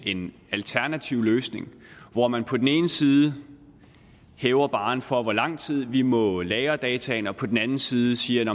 en alternativ løsning hvor man på den ene side hæver barren for hvor lang tid vi må lagre dataene og på den anden side siger